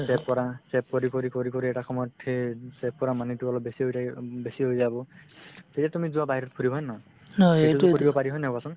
save কৰা save কৰি কৰি কৰি কৰি কৰি এটা সময়ত dher save কৰা money তো অলপ বেছি হৈ বেছি হৈ যাব তেতিয়া তুমি যোৱা বাহিৰত ফুৰিব হয় নে নহয় এইটোয়ে কৰিব পাৰি হয় নে নহয় কোৱাচোন